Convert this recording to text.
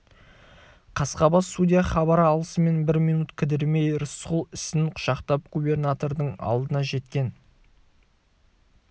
қасқабас судья хабар алысымен бір минут кідірмей рысқұл ісін құшақтап губернатордың алдына жеткен